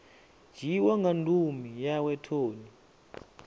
dzhiiwa nga ndumi yawe toni